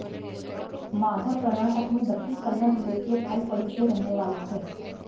माधव कर्नाटक में दक्षिण कन्नड़ जिले के थलपडी के रहने वाले थे